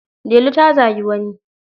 Delu ta zagi wani.